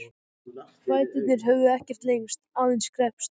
Fæturnir höfðu ekkert lengst, aðeins kreppst.